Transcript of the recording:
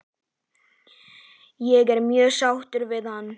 Ég er mjög sáttur við hann?